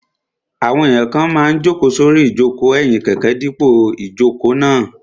Àwọn èèyàn kan máa n jòkó sórí ìjòkó ẹ̀yìn kẹ̀kẹ́ dípò ìjòkó náà